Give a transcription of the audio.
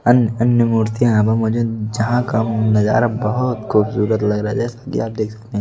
अन्य अन्य मूर्तियां यहां पर मौजूद जहां का नजारा बहुत खूबसूरत लग रहा है जैसा कि आप देख सकते हैं ।